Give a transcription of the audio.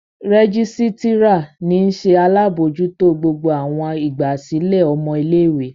Rẹgisitira ni nṣe alabojuto gbogbo awọn igbasilẹ ọmọ ile-iwe.